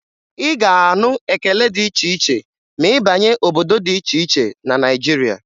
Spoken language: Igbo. Ị ga-anụ ekele dị iche iche ma ị banye obodo dị iche iche na Naịjirịa.